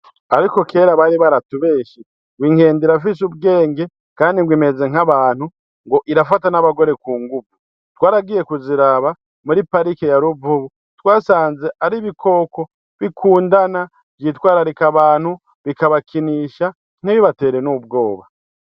Ariko kera bari baratubeshe ngo inkende irafise ubwenge, kandi ngo imeze nk'abantu, ngo irafata n'abagore ku nguvu. Twaragiye kuziraba muri parike ya Ruvubu. Twasanze ari ibikoko bikundana, vyitwararika abantu, bikabakinisha, ntibibatere n'ubwoba.